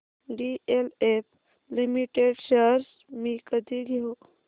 DLF limited shares मी कधी घेऊ